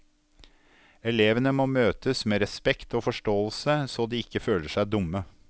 Elevene må møtes med respekt og forståelse, så de ikke føler seg dumme.